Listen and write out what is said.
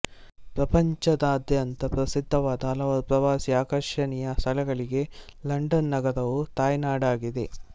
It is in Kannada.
ಪ್ರಪಂಚದಾದ್ಯಂತ ಪ್ರಸಿದ್ಧವಾದ ಹಲವಾರು ಪ್ರವಾಸೀ ಆಕರ್ಷಣೀಯ ಸ್ಥಳಗಳಿಗೆ ಲಂಡನ್ ನಗರವು ತಾಯ್ನಾಡಾಗಿದೆ